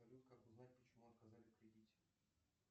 салют как узнать почему отказали в кредите